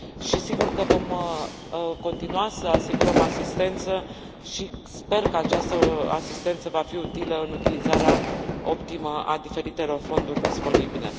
Și sigur că vom continua să asigurăm asistență și sper că această asistență va fi utilă în utilizarea optimă a diferitelor fonduri disponibile.